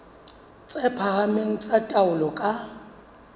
tse phahameng tsa taolo ka